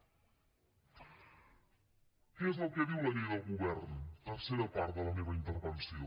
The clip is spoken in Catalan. què és el que diu la llei del govern tercera part de la meva intervenció